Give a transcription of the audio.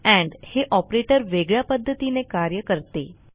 end हे operator वेगळ्या पध्दतीने कार्य करते